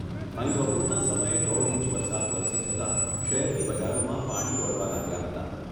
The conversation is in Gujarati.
અહી બપોરના સમયે દોઢ ઇંચ વરસાદ વરસી જતાં શહેરની બજારોમાં પાણી દોડવા લાગ્યા હતા.